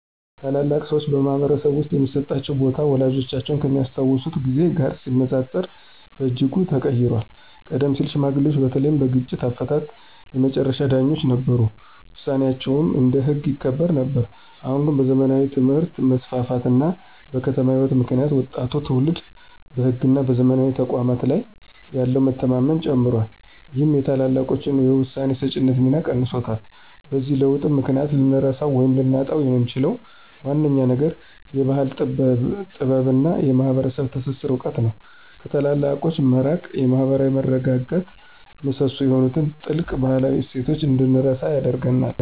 ታላላቅ ሰዎች በማኅበረሰብ ውስጥ የሚሰጣቸው ቦታ ወላጆቻችን ከሚያስታውሱት ጊዜ ጋር ሲነጻጸር በእጅጉ ተቀይሯል። ቀደም ሲል ሽማግሌዎች በተለይም በግጭት አፈታት የመጨረሻ ዳኞች ነበሩ፤ ውሳኔያቸውም እንደ ሕግ ይከበር ነበር። አሁን ግን በዘመናዊ ትምህርት መስፋፋት እና በከተማ ሕይወት ምክንያት ወጣቱ ትውልድ በሕግና በዘመናዊ ተቋማት ላይ ያለው መተማመን ጨምሯል ይህም የታላላቆችን የውሳኔ ሰጪነት ሚና ቀንሶታል። በዚህ ለውጥ ምክንያት ልንረሳው ወይም ልናጣው የምንችለው ዋነኛው ነገር የባሕል ጥበብና የማኅበረሰብ ትስስር እውቀት ነው። ከታላላቆች መራቅ የማኅበራዊ መረጋጋት ምሰሶ የሆኑትን ጥልቅ ባህላዊ እሴቶች እንድንረሳ ያደርገናል።